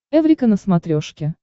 эврика на смотрешке